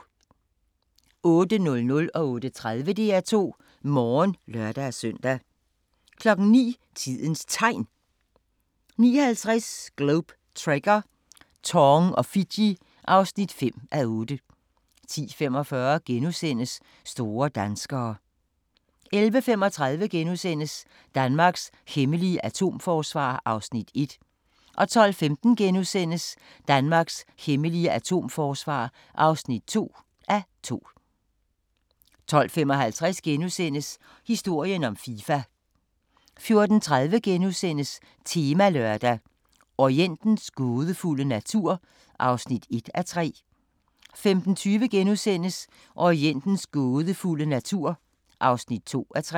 08:00: DR2 Morgen (lør-søn) 08:30: DR2 Morgen (lør-søn) 09:00: Tidens Tegn 09:50: Globe Trekker - Tong og Fiji (5:8) 10:45: Store danskere * 11:35: Danmarks hemmelige atomforsvar (1:2)* 12:15: Danmarks hemmelige atomforsvar (2:2)* 12:55: Historien om Fifa * 14:30: Temalørdag: Orientens gådefulde natur (1:3)* 15:20: Orientens gådefulde natur (2:3)*